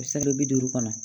bi duuru kɔnɔ